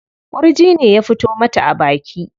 Ƙurji ne ya fito mata a baki.